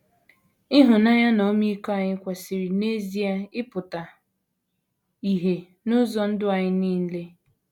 Ịhụnanya na ọmịiko anyị kwesịrị, n’ezie, ịpụta ìhè n’ụzọ ndụ anyị niile.